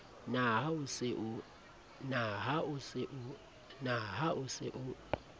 na ha o se o